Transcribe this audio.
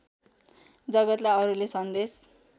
जगतलाई अरूले सन्देश